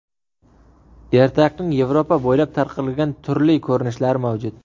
Ertakning Yevropa bo‘ylab tarqalgan turli ko‘rinishlari mavjud.